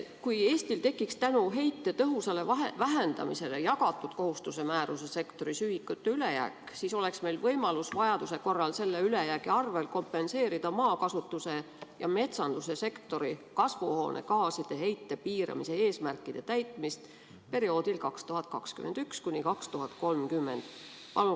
Kui Eestil tekiks tänu heite tõhusale vähendamisele jagatud kohustuse määruse sektoris ühikute ülejääk, siis oleks meil võimalus vajaduse korral selle ülejäägi arvel kompenseerida maakasutuse ja metsanduse sektori kasvuhoonegaaside heite piiramise eesmärkide täitmist perioodil 2021–2030.